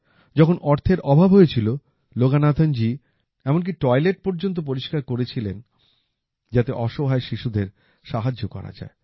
যখন অর্থের অভাব হয়েছিল লোগানাথনজি এমন কি টয়লেট পর্যন্ত পরিষ্কার করেছিলেন যাতে অসহায় শিশুদের সাহায্য করা যায়